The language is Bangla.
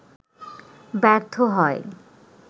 ব্যর্থ হয়